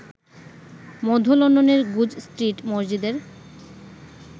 মধ্য লন্ডনের Goodge Street মসজিদের